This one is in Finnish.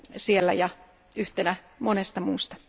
siellä yhtenä monesta muusta.